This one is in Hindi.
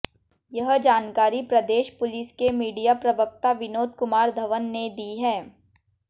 यह जानकारी प्रदेश पुलिस के मीडिया प्रवक्ता विनोद कुमार धवन ने दी है